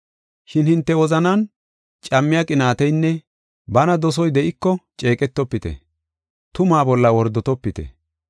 Shin hinte wozanan cammiya qinaateynne bana dosoy de7iko ceeqetofite; tumaa bolla wordotopite.